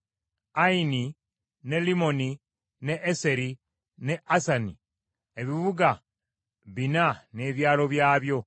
Ayini ne Limmoni ne Eseri, ne Asani ebibuga bina n’ebyalo byabyo,